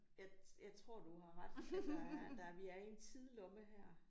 Jeg jeg tror du har ret at der er der vi er i en tidlomme her